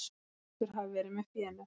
Hrútur hafi verið með fénu.